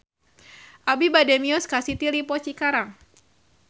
Abi bade mios ka City Lippo Cikarang